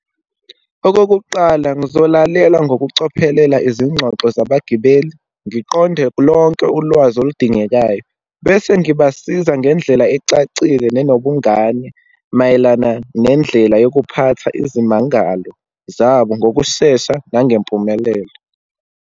Okokuqala, ngizolalela ngokucophelela izingxoxo zabagibeli, ngiqonde lonke ulwazi oludingekayo, bese ngibasiza ngendlela ecacile nenobungane, mayelana nendlela yokuphatha izimangalo zabo ngokushesha nangempumelelo.